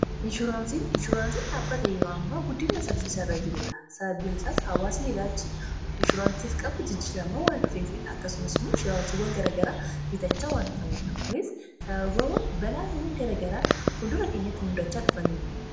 inshuuraansiin dhaabbata yeroo ammaa guddiiaa saffisaarra jirudha sababbiin isaas hawaasin ilaalchi inshuuraansiif qabu jijjiiramaa waan dhufee fidha akkasumas immoo inshurawaasiiwwan garagaraa biitachaa waan dhufaniidha kunis sababaa balaawwan garagaraa fuldura keenyatti hundachaa dhufaniin